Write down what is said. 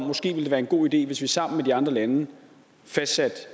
måske ville være en god idé hvis vi sammen med de andre lande fastsatte